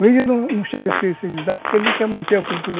O índio não chega a se civilizar porque ele quer manter a cultura.